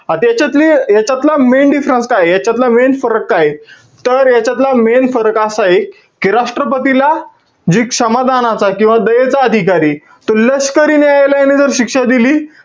त्याच्यातली~ याच्यातला main difference काये? याच्यातला main फरक काय आहे? तर यांच्यातला main फरक असा आहे कि राष्ट्रपतीला जी क्षमदानाचा किंवा दयेचा अधिकार आहे. तर लष्करी न्यायालयाने जर शिक्षा दिली,